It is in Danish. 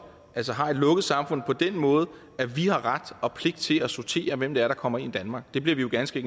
har et lukket samfund på den måde at vi har ret og pligt til at sortere hvem det er der kommer ind i danmark det bliver vi ganske